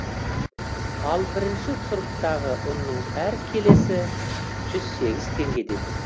ал бірінші сұрыптағы ұнның әр келісі жүз сегіз теңгеден